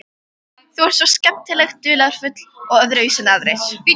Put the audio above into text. Þú ert svo skemmtilega dularfull og öðruvísi en aðrir.